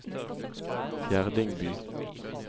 Fjerdingby